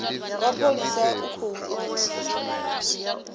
wa mapholisa u khou edzisa